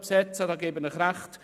Darin gebe ich Ihnen recht.